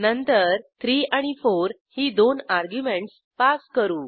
नंतर 3 आणि 4 ही दोन अर्ग्युमेंटस पास करू